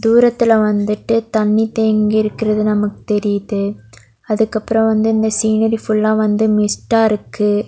தூரத்துல வந்துட்டு தண்ணி தேங்கி இருக்குறது நமக்கு தெறியிது அதுக்கு அப்ரோ வந்து இந்த சீநரி ஃபுல்லா வந்து மிஸ்டா இருக்கு.